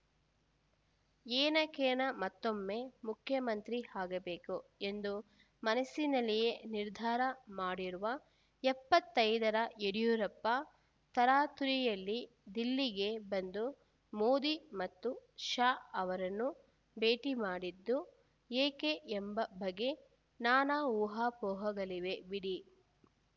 ಏನಕೇನ ಮತ್ತೊಮ್ಮೆ ಮುಖ್ಯಮಂತ್ರಿ ಆಗಬೇಕು ಎಂದು ಮನಸ್ಸಿನಲ್ಲಿಯೇ ನಿರ್ಧಾರ ಮಾಡಿರುವ ಎಪ್ಪತ್ತೈದರ ಯಡಿಯೂರಪ್ಪ ತರಾತುರಿಯಲ್ಲಿ ದಿಲ್ಲಿಗೆ ಬಂದು ಮೋದಿ ಮತ್ತು ಶಾ ಅವರನ್ನು ಭೇಟಿ ಮಾಡಿದ್ದು ಏಕೆ ಎಂಬ ಬಗ್ಗೆ ನಾನಾ ಊಹಾಪೋಹಗಳಿವೆ ಬಿಡಿ